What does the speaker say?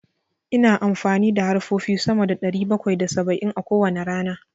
Ina amfani da harfofi sama da ɗari bakwai da saba'in a kowane rana.